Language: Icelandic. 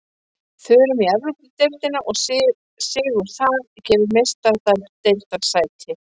Förum í Evrópudeildina og sigur þar gefur Meistaradeildarsæti.